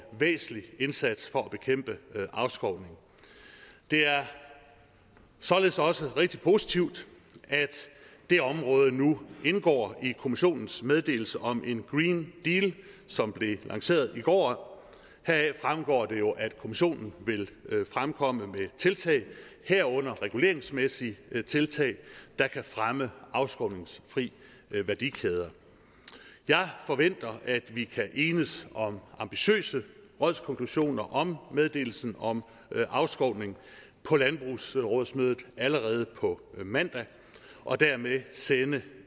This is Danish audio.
væsentlig indsats for at bekæmpe afskovning det er således også rigtig positivt at det område nu indgår i kommissionens meddelelse om en green deal som blev lanceret i går heraf fremgår det jo at kommissionen vil fremkomme med tiltag herunder reguleringsmæssige tiltag der kan fremme afskovningsfri værdikæder jeg forventer at vi kan enes om ambitiøse rådskonklusioner om meddelelsen om afskovning på landbrugsrådsmødet allerede på mandag og dermed sende